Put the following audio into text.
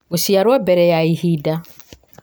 gũciarwo mbere ya ihinda